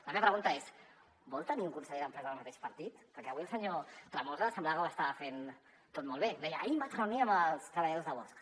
la meva pregunta és vol tenir un conseller d’empresa del mateix partit perquè avui el senyor tremosa semblava que ho estava fent tot molt bé deia ahir em vaig reunir amb els treballadors de bosch